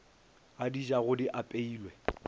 a di jago di apeilwe